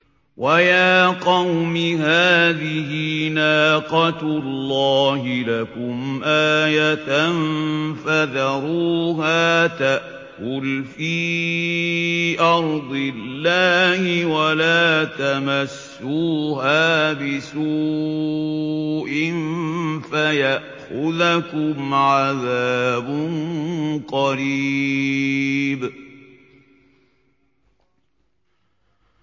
وَيَا قَوْمِ هَٰذِهِ نَاقَةُ اللَّهِ لَكُمْ آيَةً فَذَرُوهَا تَأْكُلْ فِي أَرْضِ اللَّهِ وَلَا تَمَسُّوهَا بِسُوءٍ فَيَأْخُذَكُمْ عَذَابٌ قَرِيبٌ